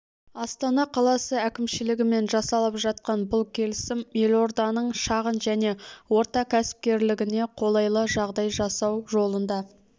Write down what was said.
астана қаласы әкімшілігімен жасалып жатқан бұл келісім елорданың шағын және орта кәсіпкерлігіне қолайлы жағдай жасау жолында